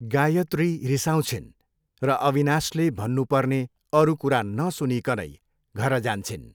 गायत्री रिसाउँछिन् र अविनाशले भन्नु पर्ने अरू कुरा नसुनिकनै घर जान्छिन्।